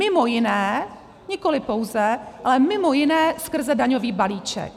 Mimo jiné, nikoli pouze, ale mimo jiné skrze daňový balíček.